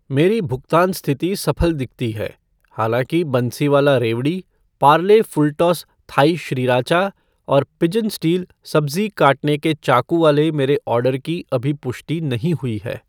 मेरी भुगतान स्थिति सफल दिखती है, हालाँकि बंसीवाला रेवड़ी , पार्ले फ़ुलटॉस थाई श्रीराचा और पिजन स्टील सब्ज़ी काटने का चाकू वाले मेरे ऑर्डर की अभी पुष्टि नहीं हुई है